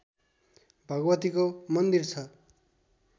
भगवतीको मन्दिर छ